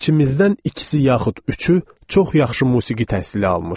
İçimizdən ikisi yaxud üçü çox yaxşı musiqi təhsili almışdı.